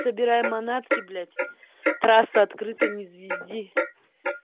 собирай манатки блять трасса открыта не звезди